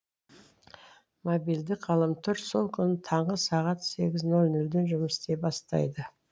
мобильдік ғаламтор сол күні таңғы сағат сегіз нөл нөлден жұмыс істей бастайды